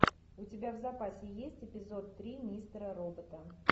у тебя в запасе есть эпизод три мистера робота